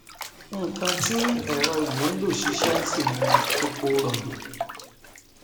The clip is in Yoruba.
nkan tí ẹrọ yìí nlò ṣiṣẹ sì ni eporọbì